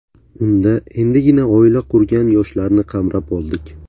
Unda endigina oila qurgan yoshlarni qamrab oldik.